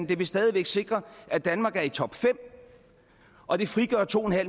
det vil stadig væk sikre at danmark er i topfem og det frigør to